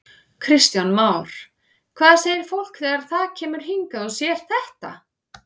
Kristján Már: Hvað segir fólk þegar það kemur hingað og sér þetta?